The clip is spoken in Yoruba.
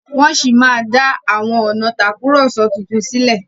wón sí dá àwọn ọnà Tàkùrọ̀sọ títún sílè.